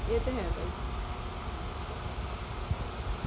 ਇਹ ਤਾਂ ਹੈ ਭਾਈ